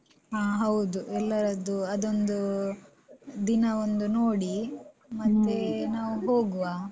ಹ ಎಲ್ಲರದ್ದು ಅದೊಂದು ದಿನ ಒಂದು ನೋಡಿ ಮತ್ತೆ ನಾವು ಹೋಗುವ.